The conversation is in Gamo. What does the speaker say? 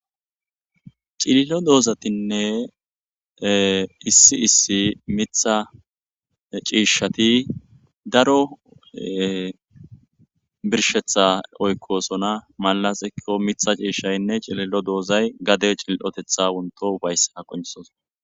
Cililo doozatinne issi issi mitha ciishshati daro birshetha oykkosona malasikko mitha ciishshaynne cililo doozay gade cil7otetha unto ubayssa qonsos